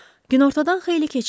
Günortadan xeyli keçmişdi.